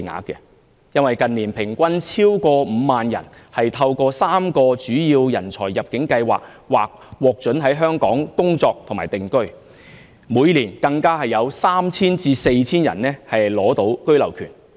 近年平均超過5萬人透過3個主要人才入境計劃，獲准在香港工作和定居，每年更有 3,000 人至 4,000 人取得居留權。